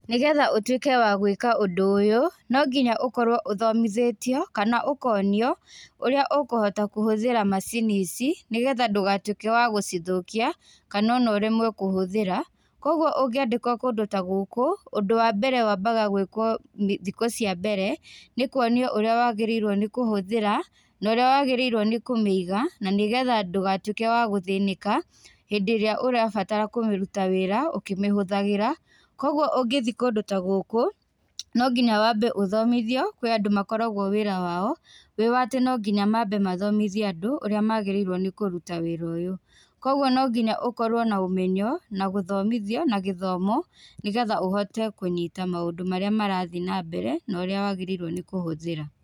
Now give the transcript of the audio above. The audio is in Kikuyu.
Nĩgetha ũtuĩke wa gwĩka ũndũ ũyũ, nonginya ũkorwo ũthomithĩtio, kana ũkonio, ũrĩa ũkũhota kũhũthĩra macini ici, nĩgetha ndũgatuĩke wa gũcithũkia, kana ona ũremwo kũhũthĩra, koguo ũngĩandĩkwo kũndũ ta gũkũ, ũndũ wa mbere wambaga gwĩkwo thikũ cia mbere, nĩkuonio ũrĩa wagĩrĩirwo nĩ kũhũthĩra, na ũrĩa wagĩrĩirwo nĩ kũmĩiga, na nĩgetha ndũgatuĩke wa gũthĩnĩka, hindĩ ĩrĩa ũrabatara kũruta wĩra ũkĩmĩhũthagĩra, koguo ũngĩthiĩ kũndũ ta gũkũ, nonginya wambe ũthomithio kwĩ andũ makoragwo wĩra wao, wĩ wa atĩ nonginya mambe mathomithie andũ, ũrĩa magĩrĩirwo nĩ kũruta wĩra ũyũ. Koguo no nginya ũkorwo na ũmenyo, na gũthomithio na gĩthomo, nĩgetha ũhote kũnyita maũndũ marĩa marathiĩ nambere, na ũrĩa wagĩrĩirwo nĩkũhũthĩra.